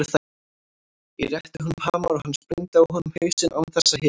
Ég rétti honum hamar og hann sprengdi á honum hausinn án þess að hika.